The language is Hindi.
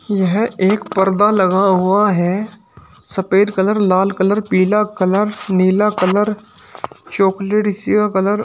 यह एक पर्दा लगा हुआ है सफेद कलर लाल कलर पीला कलर नीला कलर चॉकलेट इसी का कलर --